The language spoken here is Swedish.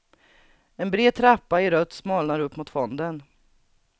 En bred trappa i rött smalnar upp mot fonden.